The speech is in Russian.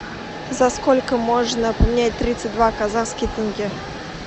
за сколько можно поменять тридцать два казахских тенге